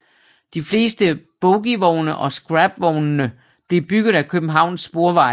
De fleste bogievogne og scrapvognene blev bygget af Københavns Sporveje